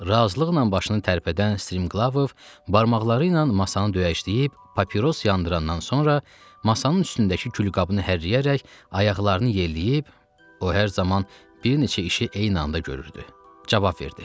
Razılıqla başını tərpədən Striglov barmaqları ilə masanı döyəcləyib, papiros yandırandan sonra masanın üstündəki küllüyü hərəkləyərək ayaqlarını yelləyib, o hər zaman bir neçə işi eyni anda görürdü, cavab verdi.